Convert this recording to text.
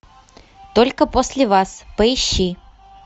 только после вас поищи